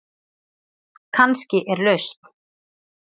Kannski er lausn